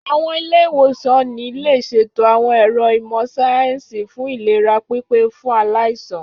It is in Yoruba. Àwọn ilé-ìwòsàn ní lè ṣètò àwọn ẹ̀ro ìmọ̀ síáyẹ́nsì fún ìlera pípé fún aláìsàn